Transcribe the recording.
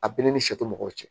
A bɛɛ ni sɛ tɛ mɔgɔw cɛ